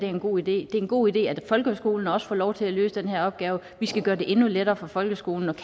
er en god idé det er en god idé at folkeskolen også får lov til at løse den her opgave og vi skal gøre det endnu lettere for folkeskolen at